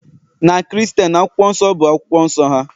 na Kristen, Akwụkwọ Nsọ bụ akwụkwọ nsọ ha